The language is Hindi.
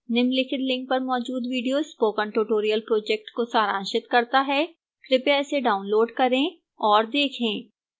निम्नलिखित link पर मौजूद video spoken tutorial project को सारांशित करता है कृपया इसे डाउनलोड करें और देखें